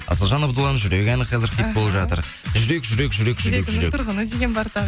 асылжан абдулан жүрек әні қазір хит болып жатыр жүрек жүрек жүрек жүрек жүрегімнің тұрғыны деген бар тағы